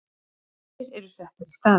Aðrir eru settir í staðinn.